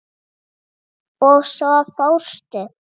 Og svo fórstu.